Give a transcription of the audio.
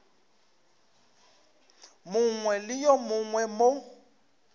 mongwe le yo mongwe mo